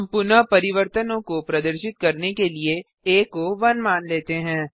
हम पुनः परिवर्तनों को प्रदर्शित करने के लिए आ को 1 मान लेते हैं